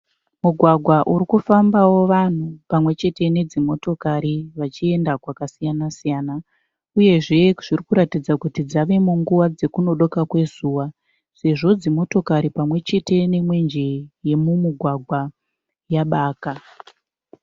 Mugwagwa urikufambao vanhu pamwechete nedzimotokari vachienda kwakasiyana siyana. Uyezve zvirikutidza kuti dzave munguva dzekunodoka kwezuva sezvo dzimotokari pamwechete nemwenje yemumugwagwa yabaka.